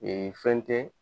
Ee fɛn tɛ.